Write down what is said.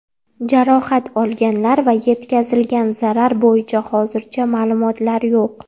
Jarohat olganlar va yetkazilgan zarar bo‘yicha hozircha ma’lumotlar yo‘q.